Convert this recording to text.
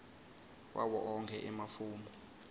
wawo onkhe emafomu